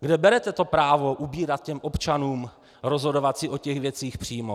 Kde berete to právo ubírat těm občanům rozhodovat si o těch věcech přímo?